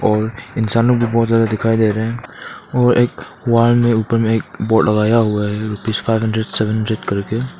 और इंसानों भी बहोत ज्यादा दिखाई दे रहे हैं और एक वाल मे उपर मे एक बोर्ड लगाया हुआ है rupees five hundred seven hundred कर के।